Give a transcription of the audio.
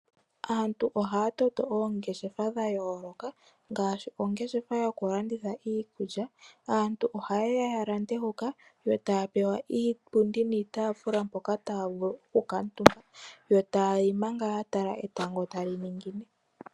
Aantu ohaya toto oongeshefa dha yooloka ngaashi ongeshefa yokulanditha iikulya. Aantu ohaye ya ya lande hoka eta ya pewa iipundi niitaafula mpoka taya vulu okukaatumba, yo taya li manga ya tala etango tali ningine.